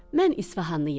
Mən İsfahanlıyam.